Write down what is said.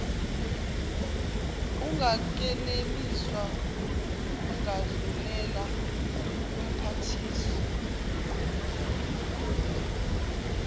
ungakeneliswa ungadlulela kumphathisa